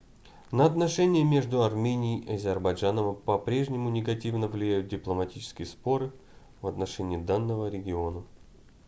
на отношения между арменией и азербайджаном по-прежнему негативно влияют дипломатические споры в отношении данного региона